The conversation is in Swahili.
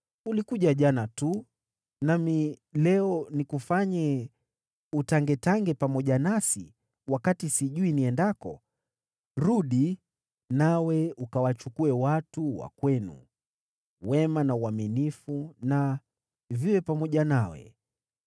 Ulikuja jana tu. Nami leo nikufanye utangetange pamoja nasi, wakati sijui niendako? Rudi, nawe ukawachukue watu wa kwenu. Wema na uaminifu na viwe pamoja nawe.”